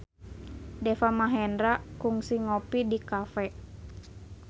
Deva Mahendra kungsi ngopi di cafe